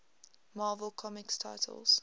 marvel comics titles